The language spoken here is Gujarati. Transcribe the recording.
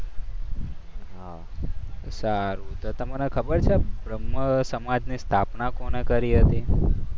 સારું તો તમને ખબર છે બ્રહ્મ સમાજની સ્થાપના કોણે કરી હતી?